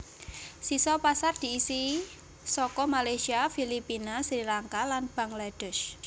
Sisa pasar diisi saka Malaysia Filipina Sri Lanka lan Bangladesh